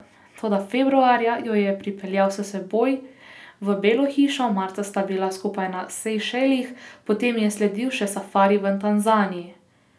Toda februarja jo je pripeljal s seboj v Belo hišo, marca sta bila skupaj na Sejšelih, potem je sledil še safari v Tanzaniji.